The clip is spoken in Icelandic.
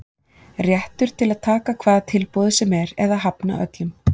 Réttur til að taka hvaða tilboði sem er eða hafna öllum.